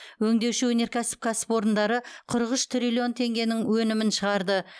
өңдеуші өнеркәсіп кәсіпорындары қырық үш триллион теңгенің өнімін шығарды